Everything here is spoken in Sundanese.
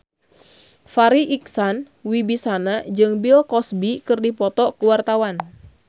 Farri Icksan Wibisana jeung Bill Cosby keur dipoto ku wartawan